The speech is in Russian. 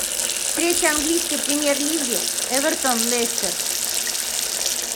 встреча английской премьер лиги эвертон лестер